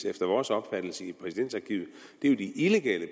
efter vores opfattelse i præsidentarkivet er jo de illegale